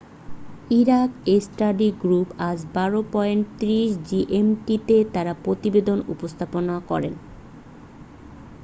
Iraq study group আজ 12.30 GMT তে তার প্রতিবেদন উপস্থাপন করেছে